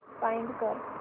find कर